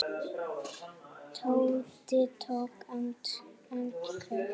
Tóti tók andköf.